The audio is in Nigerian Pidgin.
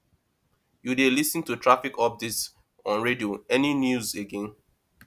you dey lis ten to traffic updates on radio any news again